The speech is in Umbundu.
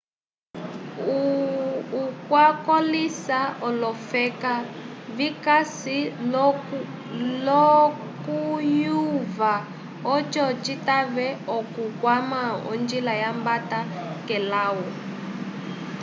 hu wakolĩsa olofeka vikasi l'okuyova oco citave okukwama onjila yambata k'elawu